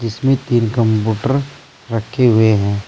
इसमें तीन कंप्यूटर रखे हुए हैं।